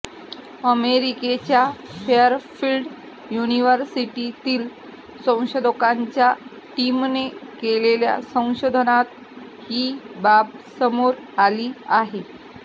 अमेरिकेच्या फेअरफिल्ड युनिव्हर्सिटीतील संशोधकांच्या टीमने केलेल्या संशोधनात ही बाब समोर आली आहे